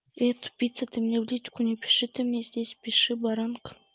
эй тупица ты мне в личку не пиши ты мне здесь пиши баранка